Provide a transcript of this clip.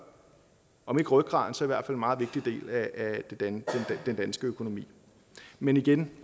om ikke rygraden så i hvert fald en meget vigtig del af den danske økonomi men igen